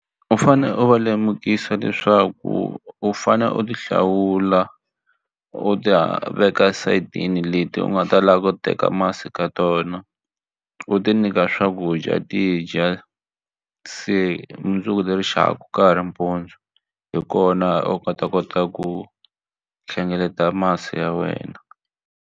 U fane u va lemukisa leswaku u fane u ti hlawula u ta veka esayitini leti u nga ta lava ku teka masi ka tona u ti nyika swakudya ti dya se mundzuku le rixaka ka ha ri mpundzu hi kona u nga ta kota ku hlengeleta masi ya wena.